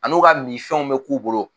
An'u ka minfɛnw bɛ k'u bolo